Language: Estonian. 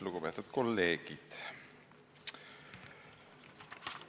Lugupeetud kolleegid!